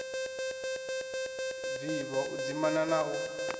vivho u dzimana na u